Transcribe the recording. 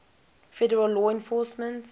federal law enforcement